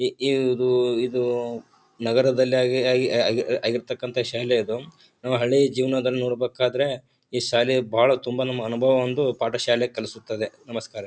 E ಇ ಇರುವುದು ಇದು ನಗರದಲ್ಲಿ ಆಗಿ ಆಗಿ ಆಗಿ ಆಗಿರತಕ್ಕಂತ ಶಾಲೆ ಅದುಂ ನಾವ್ ಹಳೆ ಜೀವನದಲ್ಲಿ ನೋಡಬೇಕ್ಕಾದ್ರೆ ಇ ಶಾಲೆ ಬಾಳ ತುಂಬಾ ನಮ್ಮ ಅನುಭವ ಒಂದು ಪಾಠಶಾಲೆ ಕಲಿಸುತ್ತದೆ ನಮಸ್ಕಾರ .